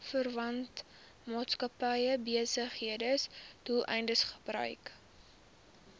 verwante maatskappybesigheidsdoeleindes gebruik